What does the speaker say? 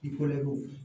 I kɔrɔ ko